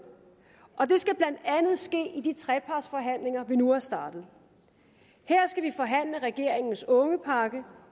og det skal blandt andet ske i de trepartsforhandlinger vi nu har startet her skal vi forhandle om regeringens ungepakke